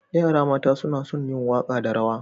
Yara mata suna son yin waka da rawa.